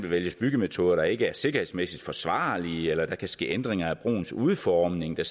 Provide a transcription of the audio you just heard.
vælges byggemetoder der ikke er sikkerhedsmæssigt forsvarlige eller der kan ske ændringer af broens udformning der